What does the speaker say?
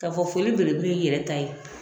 K'a fɔ foli belebele ye i yɛrɛ ta ye